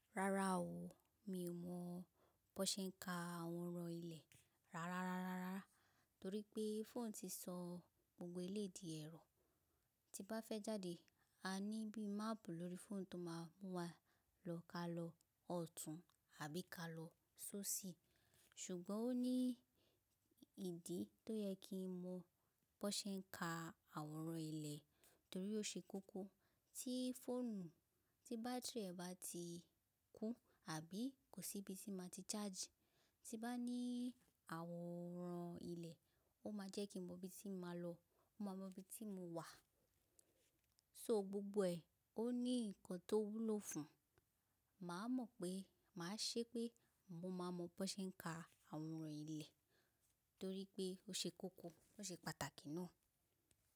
Rárá o, mi ò mọ bó ṣe ń ka àwòrán ilẹ̀ rárá, torí pé fóònù ti sọ gbogbo èléyì di ẹ̀rọ. Tí bá fẹ́ jáde, a ní bí i máàpù lórí fóònù tó máa mú wa lọ ká lọ ọ̀tún àbí ka lọ sóṣì. Ṣùgbọ́n ó ní ìdí tó yẹ kí n mọ bó ṣe ń ka àwòrán ilẹ̀ torí ó ṣe kókó. Tí fóònù tí bátìrì rẹ̀ bá ti kú àbí kò síbi tí màá ti ṣáàjì, tí bá ní àwòrán ilẹ̀, ó máa jẹ́ kí n mọ ibi tí n máa lọ, ó máa mọ ibi tí mo wà. So gbogbo ẹ̀, ó ní nǹkan tó wúlò fún. Màá mọ̀ pé màá ṣe pé mo máa mọ bó ṣe ń ka àwòrán ilẹ̀ torí pé ó ṣe kókó, ó ṣe pàtàkì náà.